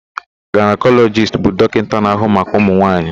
Gaịnakọlọjist bụ dọkịta na-ahụ maka ụmụnwaanyị.